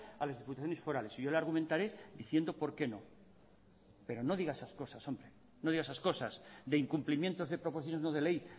a las diputaciones forales yo le argumentaré diciendo por qué no pero no diga esas cosas de incumplimiento de proposiciones de ley